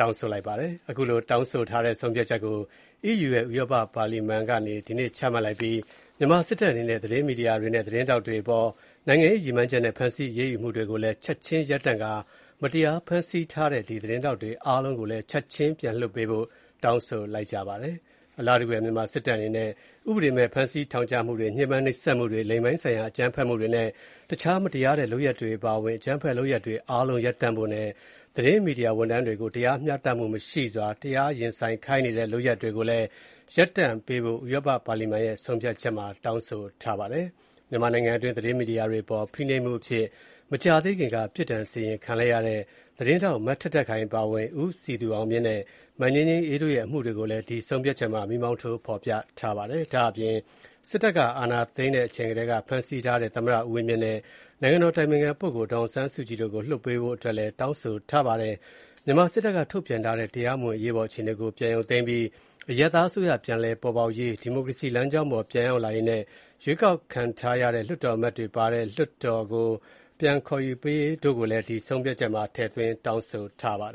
တောင်းဆိုထားတဲ့ဆုံးဖြတ်ချက်ကို အီးယူ ဥရောပပါလီမန် က ဒီကနေ့ အောက်တိုဘာ ၆ ရက်နေ့မှာ ချမှတ်လိုက်ပါတယ်။ ဒါ့အပြင် မြန်မာစစ်တပ်အနေနဲ့ သတင်းမီဒီယာတွေနဲ့ သတင်းထောက်တွေအပေါ် နိုင်ငံရေးရည်မှန်းချက်နဲ့ ဖမ်းဆီး အရေးယူမှုတွေကိုလည်း ချက်ခြင်းရပ်တန့်ပြီး မတရားသဖြင့် ဖမ်းဆီးထားတဲ့ သတင်းထောက်တွေ အားလုံးကိုလည်း ချက်ခြင်း ပြန်လွှတ်ပေးဖို့ ဥရောပ ပါလီမန်အမတ်တွေက တောင်းဆိုလိုက်ကြပါတယ်။ အလားတူပဲ မြန်မာစစ်တပ်အနေနဲ့ ဥပဒေမဲ့ ဖမ်းဆီး ထောင်ချမှုတွေ၊ ညှဉ်းပန်းနှိပ်စက်မှုတွေ၊ လိင်ပိုင်းဆိုင်ရာ အကြမ်းဖက်မှုတွေနဲ့ တခြား မတရားတဲ့လုပ်ရပ်တွေအပါအဝင် အကြမ်းဖက်လုပ်ရပ်တွေ အားလုံးရပ်တန့်ဖို့နဲ့ သတင်းမီဒီယာဝန်ထမ်းတွေကို တရားမျှတမှုမရှိစွာ တရားရင်ဆိုင်ခိုင်းနေတဲ့လုပ်ရပ်တွေကို ရပ်တန့်ဖို့ ဥရောပ ပါလီမန်ရဲ့ဆုံးဖြတ်ချက်မှာ တောင်းဆိုထားပါတယ်။ မြန်မာနိုင်ငံအတွင်း သတင်းမီဒီယာတွေအပေါ် ဖိနှိပ်မှုတွေအဖြစ် မကြာသေးခင်က ပြစ်ဒဏ်စီရင်ခံလိုက်ရတဲ့သတင်းထောက် မထက်ထက်ခိုင်အပါအဝင် ဦးစည် သူအောင်မြင့်နဲ့ မငြိမ်းငြိမ်းအေးတို့ရဲ့အမှုတွေကို မီးမောင်းထိုး ဖော်ပြထားပါတယ်။ ဒါ့အပြင် စစ်တပ်က အာဏာသိမ်းတဲ့အချိန်ကတည်းက ဖမ်းဆီးထားတဲ့ သမ္မတ ဦးဝင်းမြင့်နဲ့ နိုင်ငံတော်အတိုင်ပင်ခံပုဂ္ဂိုလ် ဒေါ်အောင်ဆန်းစုကြည်တို့ကို လွှတ်ပေးဖို့ အတွက်လည်း တောင်းဆိုထားပြီး - အီးယူလွှတ်တော်အမတ်တွေအနေနဲ့ စစ်တပ်က ထုတ်ပြန်ထားတဲ့ တရားမဝင် အရေးပေါ်အခြေအနေကို ပြန်ရုပ်သိမ်းပြီး အရပ်သားအစိုးရ ပြန်လည်ပေါ်ပေါက်ရေး၊ ဒီမိုကရေစီလမ်းကြောင်းပေါ် ပြန်ရောက်လာရေးနဲ့ ရွေးကောက်ခံထားရတဲ့ လွှတ်တော်အမတ်တွေပါဝင်တဲ့ လွှတ်တော် အသစ်ကို ခေါ်ယူပေးရေးတို့ကို ဆုံးဖြတ်ချက်မှာ ထည့်သွင်း တောင်းဆိုထားပါတယ်